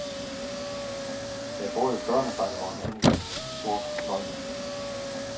Der er både børnebakke og en enkelt sort løjpe.